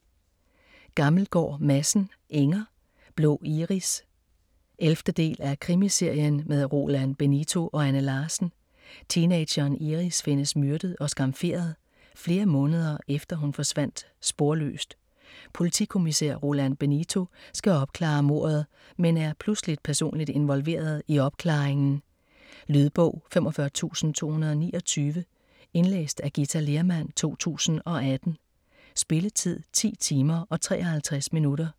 Gammelgaard Madsen, Inger: Blå iris 11. del af Krimiserien med Roland Benito og Anne Larsen. Teenageren Iris findes myrdet og skamferet, flere måneder efter hun forsvandt sporløst. Politikommisær Rolando Benito skal opklare mordet men er pludseligt personligt involveret i opklaringen. Lydbog 45229 Indlæst af Githa Lehrmann, 2018. Spilletid: 10 timer, 53 minutter.